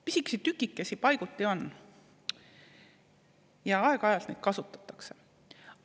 Pisikesi tükikesi paiguti on ja aeg-ajalt neid kasutatakse.